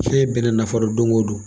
Fɛn bɛɛ n'a nafolo don o don